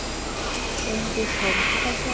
Bryndís Hólm: Hvers vegna?